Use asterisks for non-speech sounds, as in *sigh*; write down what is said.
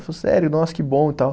*unintelligible* Sério, nossa, que bom e tal.